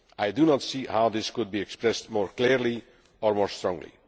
I do not see how this could be expressed more clearly or more strongly.